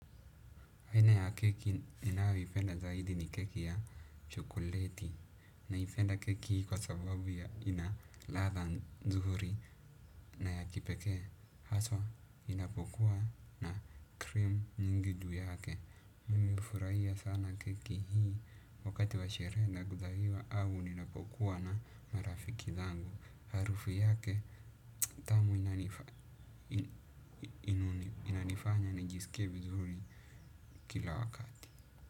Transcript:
Aina ya keki ninayoipenda zaidi ni keki ya chokoleti. Naipenda keki hii kwa sababu ya ina ladha nzuri na ya kipekee. Haswa inapokuwa na cream nyingi juu yake. Mimi hufurahia sana keki hii wakati wa sherehe na guzaliwa au ninapokuwa na marafiki zangu. Harufu yake tamu inanifanya inanifanya nijiskie vizuri kila wakati.